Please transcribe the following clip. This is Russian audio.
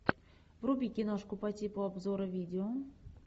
вруби киношку по типу обзора видео